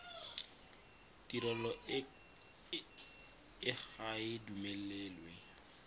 tirelo e ga e duelelwe